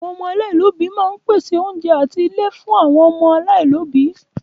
Ilé àwọn aláìní òbí máa ń pèsè oúnjẹ àti ilé fún àwọn ọmọ aláìní òbí.